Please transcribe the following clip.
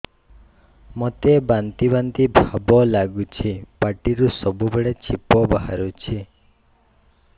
ମୋତେ ବାନ୍ତି ବାନ୍ତି ଭାବ ଲାଗୁଚି ପାଟିରୁ ସବୁ ବେଳେ ଛିପ ବାହାରୁଛି